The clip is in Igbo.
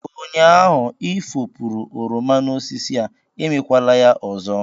Ụnyaahụ ị efopuru oroma n'osisi a, emekwala ya ọzọ!